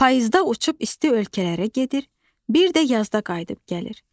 Payızda uçub isti ölkələrə gedir, bir də yazda qayıdıb gəlir.